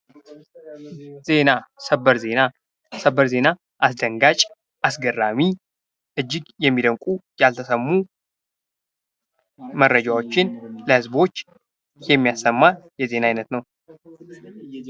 ዜና ። ሰበር ዜና ፡ ሰበር ዜና አስደንጋጭ አስገራሚ እጅግ የሚደንቁ ያልተሰሙ መረጃዎችን ለህዝቦች የሚያሰማ የዜና አይነት ነው ።